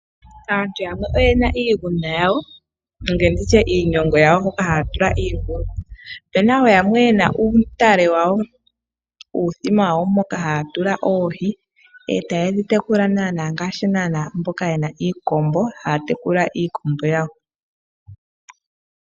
Aantu yamwe oyena iigunda yawo hoka haya tula iingulu. Opuna wo yamwe yena uuthima wawo moka haya tula oohi eta yedhi tekula naana ngaashi mboka yena iikombo haya tekula iikombo yawo.